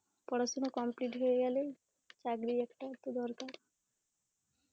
পড়াশুনা complete হয়ে গেলে, চাকরির একটা তো দরকার